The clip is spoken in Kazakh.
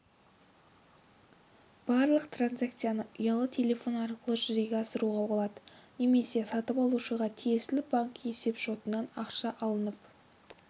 барлық транзакцияны ұялы телефон арқылы жүзеге асыруға болады немесе сатып алушыға тиесілі банк есепшотынан ақша алынып